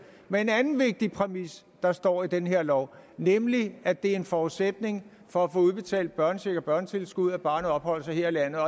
med en anden vigtig præmis der står i den her lov nemlig at det er en forudsætning for at få udbetalt børnecheck og børnetilskud at barnet opholder sig her i landet